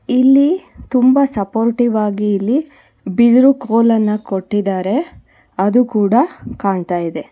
ಇಲ್ಲಿ ತುಂಬಾ ಸಪೋರ್ಟಿವ್ ಆಗಿ ಇಲ್ಲಿ ಬಿದ್ರು ಕೊಲನ್ನ ಕೊಟ್ಟಿದ್ದಾರೆ ಅದು ಕೂಡ ಕಾಣ್ತಾ ಇದೆ.